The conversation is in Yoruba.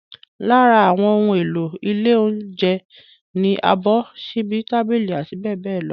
Lára àwọn ohun èlò ilé oúnjẹ ni abọ́, ṣíbí, tábìlì, abbl.